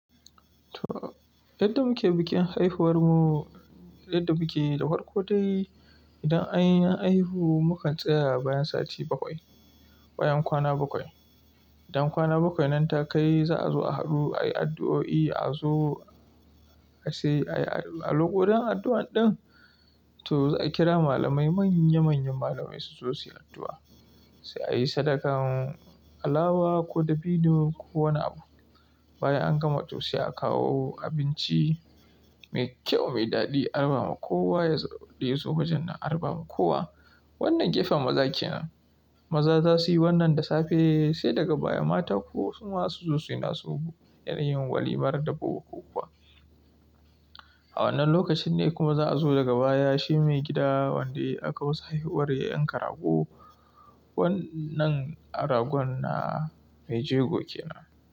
To yadda muke bikin haihuwar mu, yadda muke da hwarko dai, idan anyi haihu mu kan tsaya bayan sati bakwai ko yana kwana bakwai. Idan kwana bakwai nan ta kai za a zo a haɗu ayi addu'o'i, a zo a sayi a lokacin addu'an din, to za a kira malamai manya manyan malamai su zo suyi addu'a. Sai ayi sadakan alawa ko dabino ko wani abu. Bayan an gama to sai a kawo abinci mai kyau mai daɗi a raba ma kowa ya iso bajen nan a raba ma kowa. Wannan gefen maza kenan. Maza za su yi wannan da safe sai daga baya mata kuwa su ma su zo suyi nasu yanayin walimar dabbobo kuwa. A wannan lokacin ne kuma za a zo daga baya shi maigida wanda aka wusa haihuwar ya yanka rago. Wannan ragon na mai jego kenan.